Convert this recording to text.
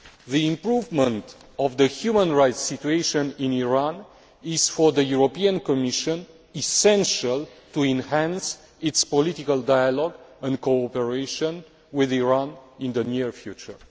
The improvement of the human rights situation in Iran is, for the Commission, essential to enhance its political dialogue and cooperation with Iran in the near future.